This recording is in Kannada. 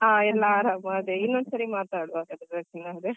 ಹಾ ಆರಾಮ ಅದೇ ಇನ್ನೊಂದ್ಸರಿ ಮಾತಾಡುವ ರಚನಾ.